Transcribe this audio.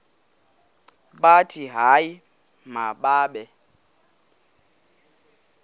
bathi hayi mababe